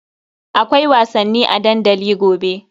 Akwai wasanni a dandali gobe.